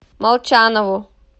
молчанову